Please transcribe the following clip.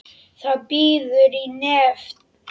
Það bíður í nefnd.